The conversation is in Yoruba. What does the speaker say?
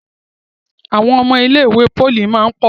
Àwọn ọmọ ilé ìwé poli món pọ.